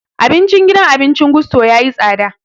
Abincin gidan abincin Gusto ya yi tsada